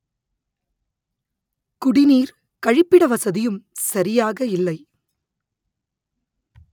குடிநீர் கழிப்பிட வசதியும் சரியாக இல்லை